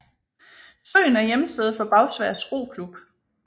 Søen er hjemsted for Bagsværd Roklub